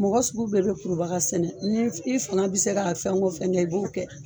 Mɔgɔ sugu bɛɛ bɛ kurubaga sɛnɛ. Ni f i faŋa bi se ka fɛn o fɛn kɛ i b'o kɛ.